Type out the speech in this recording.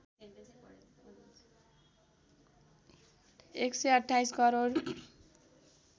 १२८ crore